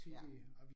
Ja